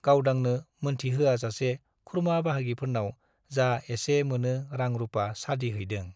गावदांनो मोनथिहोआजासे खुरमा-बाहागिफोरनाव जा एसे मोनो रां रुपा सादि हैदों।